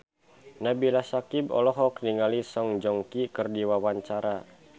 Nabila Syakieb olohok ningali Song Joong Ki keur diwawancara